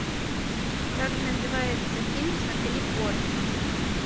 как называется фильм с натали портман